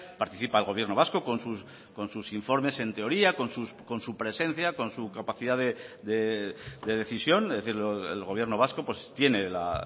participa el gobierno vasco con sus informes en teoría con su presencia con su capacidad de decisión es decir el gobierno vasco tiene la